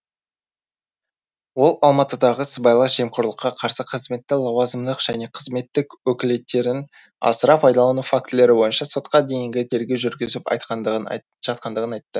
ол алматыдағы сыбайлас жемқорлыққа қарсы қызметі лауазымдық және қызметтік өкілеттіктерін асыра пайдалану фактілері бойынша сотқа дейінгі тергеу жүргізіп жатқандығын айтты